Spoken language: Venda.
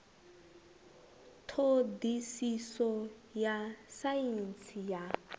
ṱho ḓisiso ya saintsi ya